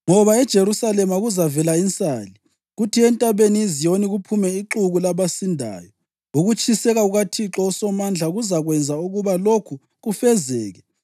Ngoba eJerusalema kuzavela insali, kuthi entabeni iZiyoni kuphume ixuku labasindayo. Ukutshiseka kukaThixo uSomandla kuzakwenza ukuba lokhu kufezeke.